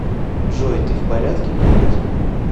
джой ты в порядке приятель